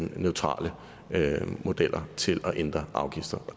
neutrale modeller til at ændre afgifter